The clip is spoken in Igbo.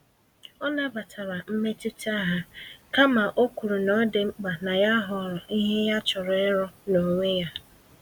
Ọ nabatara mmetụta ha, kama okwuru n'ọdị mkpa na ya họrọ ìhè ya chọrọ ịrụ, n'onwe ya